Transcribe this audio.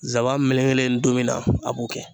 Zaban melekelen donmin na, a b'o kɛ.